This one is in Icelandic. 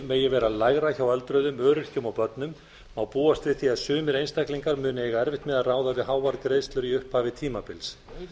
megi vera lægra hjá öldruðum öryrkjum og börnum má búast við því að sumir einstaklingar munu eiga erfitt með að ráða við háar greiðslur í upphafi tímabils